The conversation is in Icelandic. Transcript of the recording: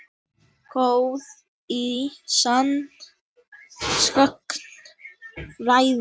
Góð í sagnfræði.